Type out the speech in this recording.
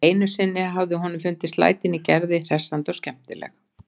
Einu sinni hafði honum fundist lætin í Gerði hressandi og skemmtileg.